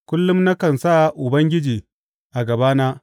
Kullum nakan sa Ubangiji a gabana.